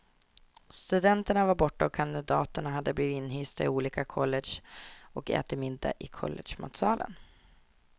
Studenterna var borta, och kandidaterna hade blivit inhysta i olika college och ätit middag i collegematsalen.